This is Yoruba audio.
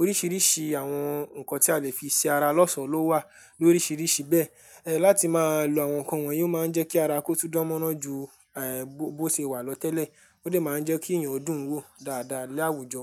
Oríṣiríṣi àwọn nǹkan tí a le fi ṣe ara lọ́sọ̀ọ́ ló wà lóríṣiríṣi bẹ́ẹ̀. Ẹ, láti máa lo àwọn nǹkan wọ̀nyí ó máa ń jẹ́ kí ara kó tó dánmọ́nán ju, ẹ, bó ṣe wà lọ tẹ́lẹ̀. Ó dẹ̀ máa ń jẹ́ kí èèyàn dùn wò dáadáa lé àwùjọ.